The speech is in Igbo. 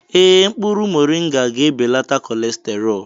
Ee, mkpụrụ moringa ga-ebelata cholesterol.